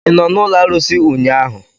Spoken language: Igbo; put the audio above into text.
ị nọ n'ụlọ arụsị ụnyahụ?